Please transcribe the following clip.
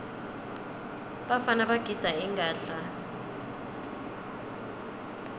bafana bagidza ingadla